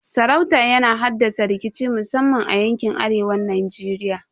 Sarauta yana haddasa rikici musamman a yankin arewan Najeriya.